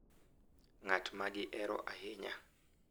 Ng’at ma gihero ahinya.